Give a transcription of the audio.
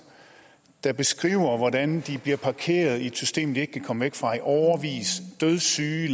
der beskriver hvordan de bliver parkeret i et system de ikke kan komme væk fra i årevis dødssyge